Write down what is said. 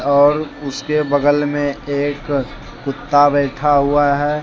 और उसके बगल में एक कुत्ता बैठा हुआ है।